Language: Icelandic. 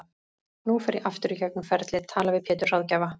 Nú fer ég aftur í gegnum ferlið, tala við Pétur ráðgjafa